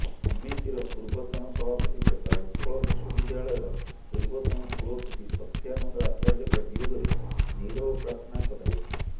ସମିତିର ପୂର୍ବତନ ସଭାପତି ତଥା ଉତ୍କଳ ବିଶ୍ବବିଦ୍ୟାଳୟର ପୂର୍ବତନ କୁଳପତି ସତ୍ୟାନନ୍ଦ ଆଚାର୍ଯ୍ୟଙ୍କ ବିୟୋଗରେ ନିରବ ପ୍ରାର୍ଥନା କରାଯାଇଥିଲା